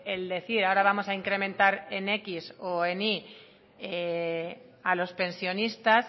el decir ahora vamos a incrementar en décimo o en y a los pensionistas